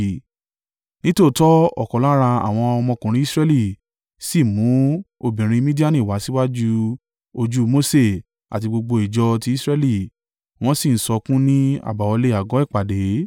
Nítòótọ́ ọ̀kan lára àwọn ọmọkùnrin Israẹli sì mú obìnrin Midiani wá síwájú ojú Mose àti gbogbo ìjọ ti Israẹli wọ́n sì ń sọkún ní àbáwọlé àgọ́ ìpàdé.